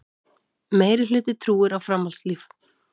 Meirihluti trúir á framhaldslíf